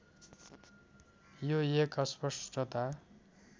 यो एक अस्पष्टता